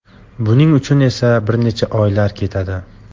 Buning uchun esa bir necha oylar ketadi.